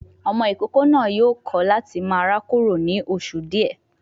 Ọmọ ìkókó náà yóò kọ láti máa rákòrò ní oṣù díẹ̀